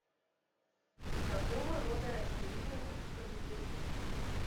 какого рода растение в русском языке